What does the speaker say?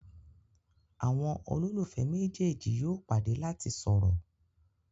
àwọn ololufẹ méjèèjì yóò pàdé lati sọrọ.